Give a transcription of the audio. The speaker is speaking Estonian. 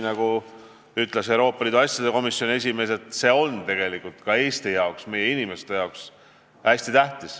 Nagu ütles Euroopa Liidu asjade komisjoni esimees: see teema on tegelikult väga tähtis nii Eesti jaoks kui ka meie inimeste jaoks.